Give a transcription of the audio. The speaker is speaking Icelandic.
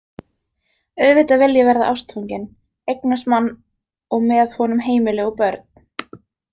Auðvitað vil ég verða ástfangin, eignast mann og með honum heimili og börn.